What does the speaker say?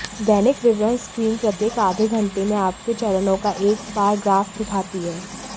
दैनिक विवरण स्क्रीन प्रत्येक आधे घंटे में आपके चरणों का एक बार ग्राफ दिखाती है